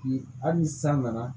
Hali ni san nana